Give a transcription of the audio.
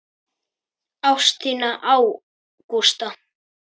Ást þína á Gústa.